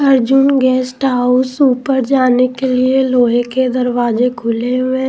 Arjun guest house ऊपर जाने के लिए लोहे के दरवाजे खुले हुए हैं।